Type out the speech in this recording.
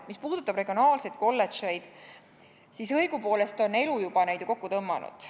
Mis puudutab regionaalseid kolledžeid, siis õigupoolest on elu juba neid ju kokku tõmmanud.